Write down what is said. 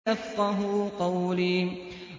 يَفْقَهُوا قَوْلِي